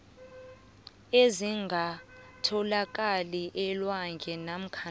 ezingatholakali elwandle namkha